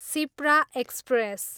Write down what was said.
Shipra express